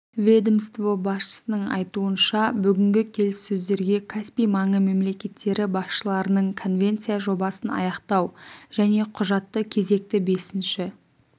ведомство басшысының айтуынша бүгінгі келіссөздерге каспий маңы мемлекеттері басшыларының конвенция жобасын аяқтау және құжатты кезекті бесінші